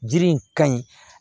Jiri in ka ɲi